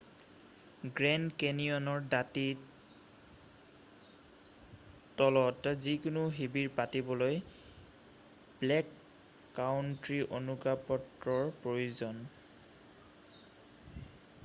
grand কেনিয়নৰ দাতিৰ তলত যিকোনো শিবিৰ পাতিবলৈ ব্লেক কাউন্ট্ৰী অনুজ্ঞাপত্ৰৰ প্ৰয়োজন